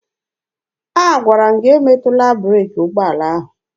Agwara m gị emetụla breeki ụgbọala ahụ!